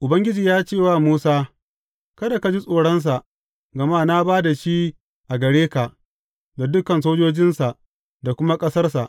Ubangiji ya ce wa Musa, Kada ka ji tsoronsa, gama na ba da shi a gare ka, da dukan sojojinsa da kuma ƙasarsa.